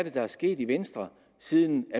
er der er sket i venstre siden